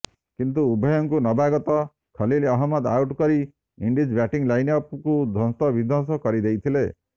କିନ୍ତୁ ଉଭୟଙ୍କୁ ନବାଗତ ଖଲୀଲ ଅହମ୍ମଦ ଆଉଟ୍ କରି ଇଣ୍ଡିଜ୍ ବ୍ୟାଟିଂ ଲାଇନ୍ ଅପ୍କୁ ଧ୍ୱସ୍ତବିଧ୍ୱସ୍ତ କରିଦେଇଥିଲେ